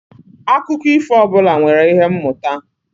Akụkọ ifo ọbụla nwere ihe mmụta